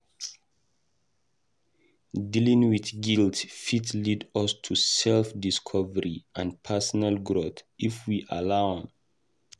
Dealing with guilt fit lead us to self-discovery and personal growth if we allow am.